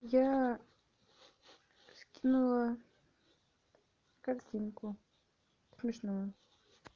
я скинула картинку смешную